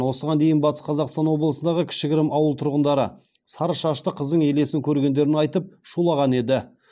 осыған дейін батыс қазақстан облысындағы кішігірім ауыл тұрғындары сары шашты қыздың елесін көргендерін айтып шулаған еді